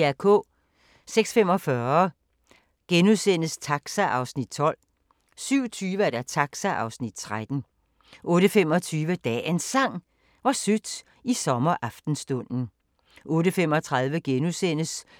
06:45: Taxa (Afs. 12)* 07:20: Taxa (Afs. 13) 08:25: Dagens Sang: Hvor sødt i sommeraftenstunden 08:35: